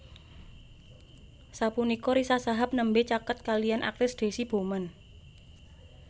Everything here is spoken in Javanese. Sapunika Riza Shahab nembé caket kaliyan aktris Deasy Bouman